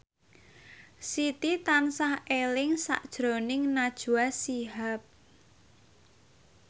Siti tansah eling sakjroning Najwa Shihab